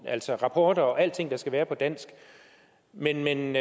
altså rapporter og alting der skal være på dansk men men